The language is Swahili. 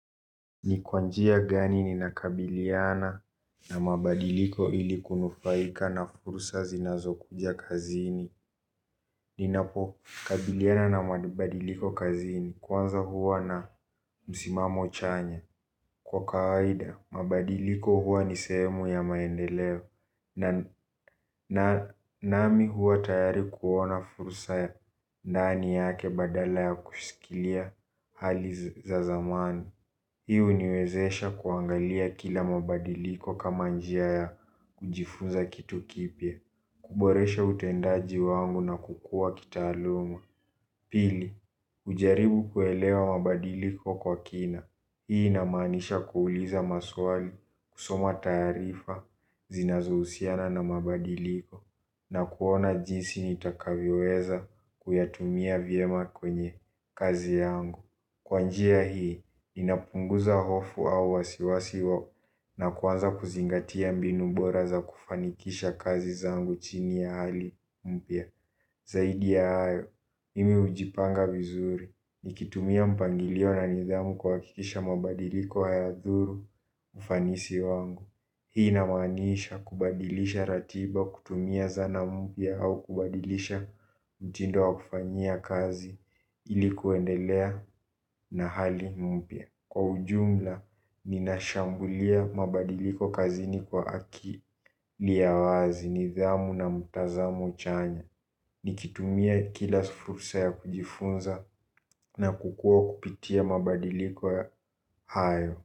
Ni kwa njia gani nina kabiliana na mabadiliko ili kunufaika na fursa zinazo kuja kazini. Ninapo kabiliana na mabadiliko kazini kwanza huwa na msimamo chanya. Kwa kawaida, mabadiliko huwa ni sehemu ya maendeleo. Na nami huwa tayari kuona fursa ya ndani yake badala ya kushikilia hali za zamani. Hii uniwezesha kuangalia kila mabadiliko kama njia ya kujifunza kitu kipta, kuboresha utendaji wangu na kukua kitaaluma. Pili, ujaribu kuelewa mabadiliko kwa kina. Hii inamaanisha kuuliza maswali, kusoma taarifa, zinazo uhusiana na mabadiliko, na kuona jinsi nitakavyoweza kuyatumia vyema kwenye kazi yangu. Kwa njia hii, ninapunguza hofu au wasiwasi wao na kuwanza kuzingatia mbinu bora za kufanikisha kazi zangu chini ya hali mpya. Zaidi ya hayo, imi hujipanga vizuri, nikitumia mpangilio na nidhamu kuwakikisha mabadiliko hayadhuru ufanisi wangu. Hii inamaaniisha kubadilisha ratiba kutumia zana mpya au kubadilisha mtindo wa kufanyia kazi ilikuendelea na hali mpya. Kwa ujumla, ninashambulia mabadiliko kazini kwa akili ya wazi nidhamu na mtazamo chanya. Nikitumia kila fursa ya kujifunza na kukua kupitia mabadiliko hayo.